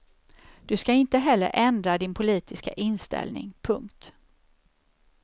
Du ska inte heller ändra din politiska inställning. punkt